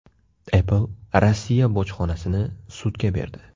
Apple Rossiya bojxonasini sudga berdi.